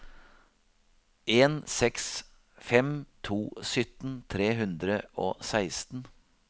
en seks fem to sytten tre hundre og seksten